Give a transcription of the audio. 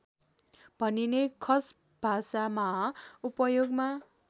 भनिने खसभाषामा उपयोगमा